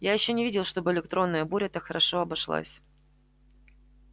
я ещё не видел чтобы электронная буря так хорошо обошлась